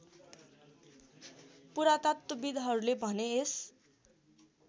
पुरातत्त्वविद्हरूले भने यस